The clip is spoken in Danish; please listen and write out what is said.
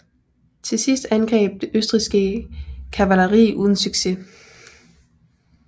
Til sidst angreb det østrigske kavaleri uden succes